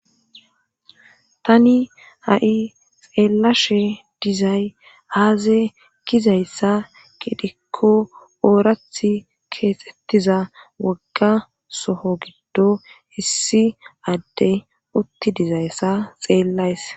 tani ha7i xeellashe dizay haaze gizayssa gidhikko oorath keexettiza wogga soho giddo issi adde utti dizayssa xeellays